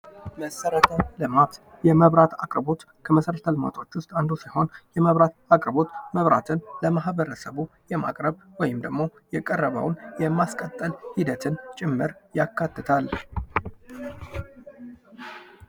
መሰረተ ልማት። የመብራት አቅርቦት ከመሰረተ ልማቶች አንዱ ሲሆን መብራት ለማህበረሰቡ የማቅረብ ወይም ደግሞ የቀረበውን የማስቀጠል ሂደትን ጭምር ያካትታል።